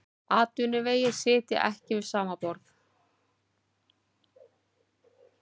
Atvinnuvegir sitja ekki við sama borð